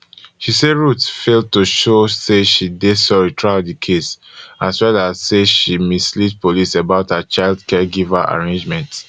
she say ruth fail to show say she dey sorry throughout di case as well as say she mislead police about her child caregiver arrangements